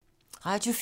Radio 4